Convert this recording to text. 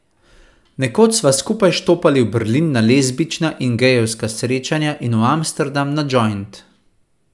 Nekoč sva skupaj štopali v Berlin na lezbična in gejevska srečanja in v Amsterdam na džojnt.